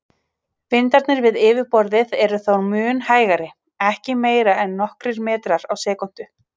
Vindarnir við yfirborðið eru þó mun hægari, ekki meira en nokkrir metrar á sekúndu.